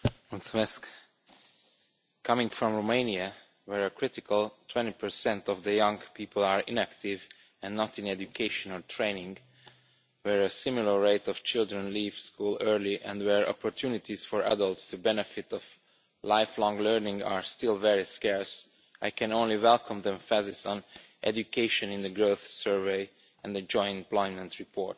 Mr President, coming from Romania where a critical 20 of young people are inactive and not in education or training, where a similar rate of children leave school early and where opportunities for adults to benefit from lifelong learning are still very scarce, I can only welcome the emphasis on education in the growth survey and the joint employment report.